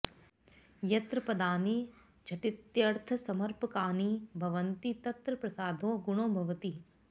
यत्र पदानि झटित्यर्थसमर्पकानि भवन्ति तत्र प्रसादो गुणो भवति